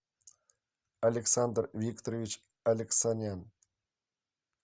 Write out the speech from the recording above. александр викторович алексанян